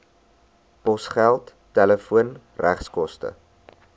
posgeld telefoon regskoste